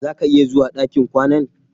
Zà ka iya zuwa ɗakin kwanan?